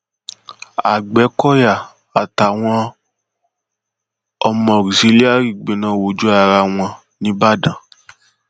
agbẹkọyà àtàwọn ọmọ auxilliary gbẹná wojú ara wọn nìbàdàn